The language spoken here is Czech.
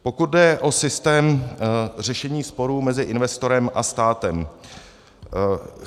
Pokud jde o systém řešení sporů mezi investorem a státem.